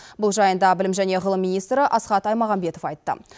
бұл жайында білім және ғылым министрі асхат аймағамбетов айтты